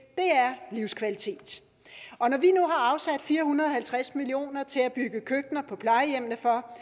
livskvalitet og når vi nu har afsat fire hundrede og halvtreds million kroner til at bygge køkkener på plejehjemmene for